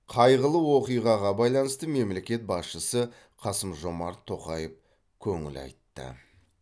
қайғылы оқиғаға байланысты мемлекет басшысы қасым жомарт тоқаев көңіл айтты